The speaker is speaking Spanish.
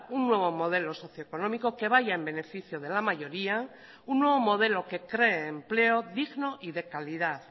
un nuevo modelo socio económico que vaya en beneficio de la mayoría un nuevo modelo que cree empleo digno y de calidad